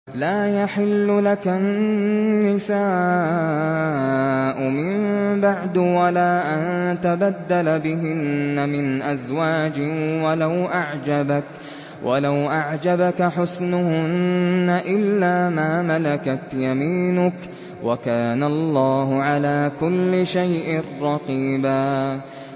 لَّا يَحِلُّ لَكَ النِّسَاءُ مِن بَعْدُ وَلَا أَن تَبَدَّلَ بِهِنَّ مِنْ أَزْوَاجٍ وَلَوْ أَعْجَبَكَ حُسْنُهُنَّ إِلَّا مَا مَلَكَتْ يَمِينُكَ ۗ وَكَانَ اللَّهُ عَلَىٰ كُلِّ شَيْءٍ رَّقِيبًا